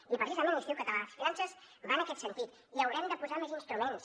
i precisament l’institut català de finances va en aquest sentit i hi haurem de posar més instruments